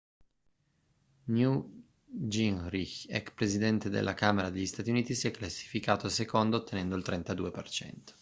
newt gingrinch ex presidente della camera degli stati uniti si è classificato secondo ottenendo il 32%